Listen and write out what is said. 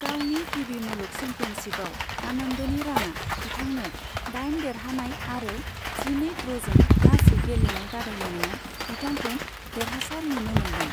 गावनि गिबि मुलुग चेम्पियनशिपआव आनन्दनि राना बिथांनो दाइन देरहानाय आरो जिनै ड्र'जों गासै गेलेनाय बादायनायाव बिथांखौ देरहासार नुनो मोनदों।